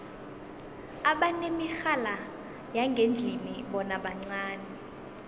abanemirhala yangendlini bona bancani